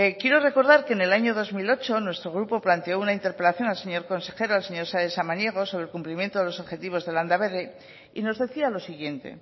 quiero recordar que en el año dos mil ocho nuestro grupo planteó una interpelación al señor consejero al señor sáenz de samaniego sobre el cumplimiento de los objetivos de landaberri y nos decía lo siguiente